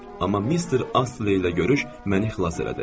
Amma Mr. Astley ilə görüş məni xilas elədi.